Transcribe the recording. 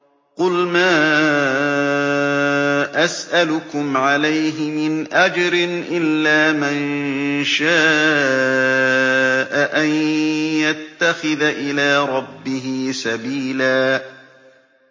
قُلْ مَا أَسْأَلُكُمْ عَلَيْهِ مِنْ أَجْرٍ إِلَّا مَن شَاءَ أَن يَتَّخِذَ إِلَىٰ رَبِّهِ سَبِيلًا